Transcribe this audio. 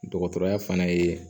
Dɔgɔtɔrɔya fana ye